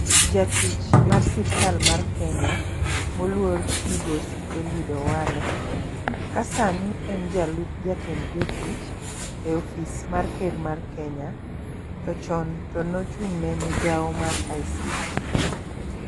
Jatich mar sirikal mar kenya moluor migosi Eliud Owalo ka sani en jalup jatend jotich e ofis mar ker mar kenya. To chon tone ochung' ne migawo mar ICT